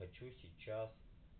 хочу сейчас